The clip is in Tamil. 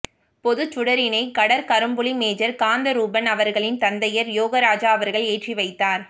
பொதுச்சுடரினை கடற்கரும்புலி மேஜர் காந்தரூபன் அவர்களின் தந்தையர் யோகராசா அவர்கள் ஏற்றிவைத்தார்